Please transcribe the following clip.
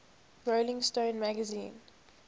rolling stone magazine